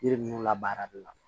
Yiri ninnu labaara de la